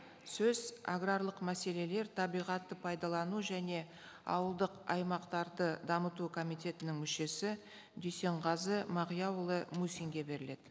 сөз аграрлық мәселелер табиғатты пайдалану және ауылдық аймақтарды дамыту комитетінің мүшесі дүйсенғазы мағияұлы мусинге беріледі